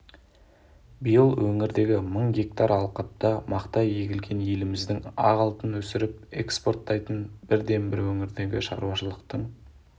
биыл өңірдегі мың гектар алқапқа мақта егілген еліміздегі ақ алтын өсіріп экспорттайтын бірден-бір өңірдегі шаруашылықтың